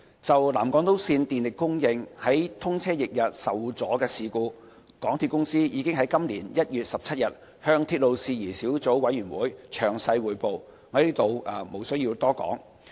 就南港島線電力供應於通車翌日受阻的事故，港鐵公司已於今年1月17日向鐵路事宜小組委員會詳細匯報，我在此無須多說。